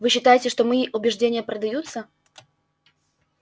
вы считаете что мои убеждения продаются